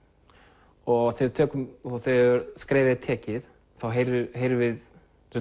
og þegar skrefið er tekið þá heyrum heyrum við